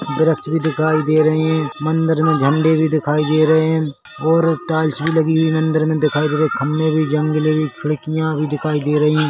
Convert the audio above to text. वृक्ष भी दिखाई दे रहे है मंदिर मे झंडे भी दिखाई दे रहे है ओर टाइल्स भी लगी हुई मंदिर मे दिखाई दे रहे है खंभे भी जंगले वे खिड़किया भी दिखाई दे रही है।